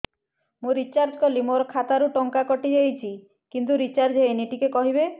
ମୁ ରିଚାର୍ଜ କରିଲି ମୋର ଖାତା ରୁ ଟଙ୍କା କଟି ଯାଇଛି କିନ୍ତୁ ରିଚାର୍ଜ ହେଇନି ଟିକେ କହିବେ